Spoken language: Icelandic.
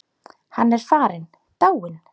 Hann er farinn, dáinn.